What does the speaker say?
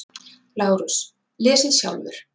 LÁRUS: Lesið sjálfur!